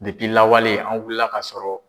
Depi lawale an wulila ka sɔrɔ.